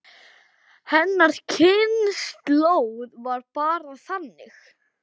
Hennar kynslóð var bara þannig.